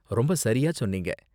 ரொம்ப சரியா சொன்னீங்க.